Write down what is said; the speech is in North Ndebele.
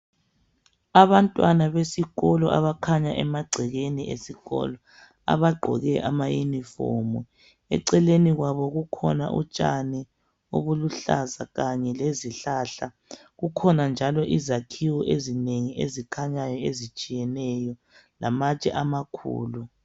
Abantwana besikolo abakhanyayo emagcekeni esikolo abagqoke amayunifomu. Eceleni kwabo kukhona utshani obuluhlaza kanye lezihlahla. Kukhona njalo izakhiwo ezinengi ezikhanyayo ezitshiyeneyo lamatshe amakhulu.